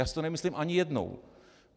Já si to nemyslím ani jednou.